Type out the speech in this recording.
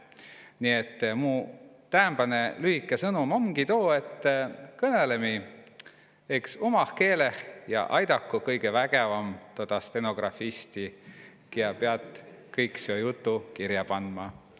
Nii õt mu sõnum täämba om lühkokõnõ: kõnõlgõ õks umah keeleh inämp ja avitagu Kõgõväkevam tuud stenografisti, kiä pea tuud juttu kirja pandma.